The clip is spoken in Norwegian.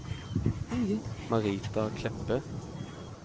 Marita Kleppe